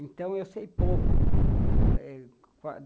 Então, eu sei pouco.